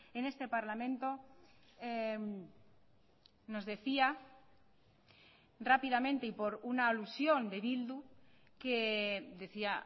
en este parlamento nos decía rápidamente y por una alusión de bildu que decía